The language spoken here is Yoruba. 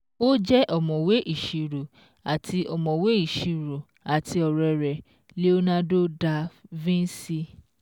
Ó jẹ́ ọ̀mọ̀wé ìṣirò àti ọ̀mọ̀wé ìṣirò àti ọ̀rẹ́ rẹ̀ Leonardo Da Vinci